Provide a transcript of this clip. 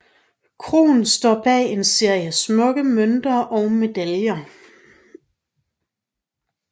Krohn står bag en serie smukke mønter og medaljer